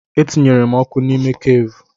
Etinyere m ọkụ n'ime keevu.